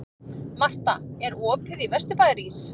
Marta, er opið í Vesturbæjarís?